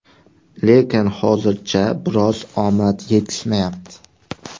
Lekin hozircha biroz omad etishmayapti.